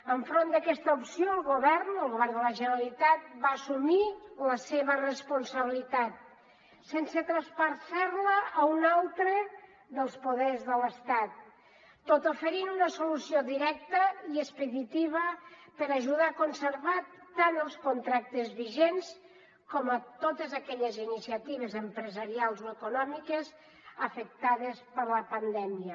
enfront d’aquesta opció el govern el govern de la generalitat va assumir la seva responsabilitat sense traspassar la a un altre dels poders de l’estat tot oferint una solució directa i expeditiva per ajudar a conservar tant els contractes vigents com totes aquelles iniciatives empresarials o econòmiques afectades per la pandèmia